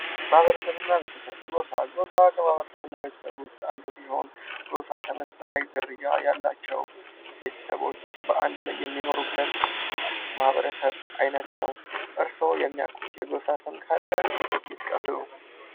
ማህበረሰብ እና ቤተሰብ ፦ ጎፋ ፦ ጎፋ ከማህበረሰብ እና ቤተሰብ ውስጥ አንዱ ሲሆን ጎፋ ተመሳሳይ ዝርያ ያላቸው ቤተሰቦች በአንድ ላይ የሚኖሩበት የማህበረሰብ አይነት ነው ። እርስዎ የሚያውቁት የጎፋ ሰው ካለ ይጥቀሱ ?